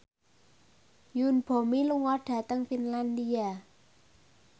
Yoon Bomi lunga dhateng Finlandia